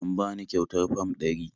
Am bani ƙyautar Fam ɗari